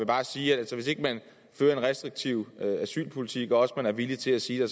bare sige at hvis ikke man fører en restriktiv asylpolitik og også er villig til at sige at